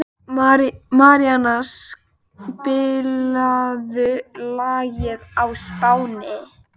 Maríanna, spilaðu lagið „Á Spáni“.